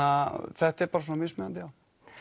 þetta er bara svona mismunandi já